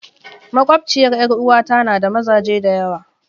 Makwabciyar 'yar uwata na da mazaje da yawa.